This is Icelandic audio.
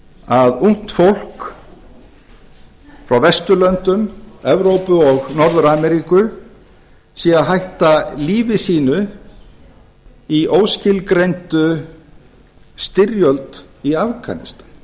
að ungt fólk frá vesturlöndum evrópu og norður ameríku sé að hætta lífi sínu í óskilgreindri styrjöld í afganistan